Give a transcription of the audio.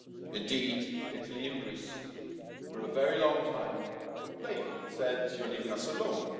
Indeed, Italy and Greece for a very long time complained and said you're leaving us alone